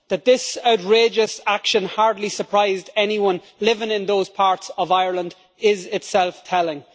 That this outrageous action hardly surprised anyone living in those parts of Ireland is itself telling.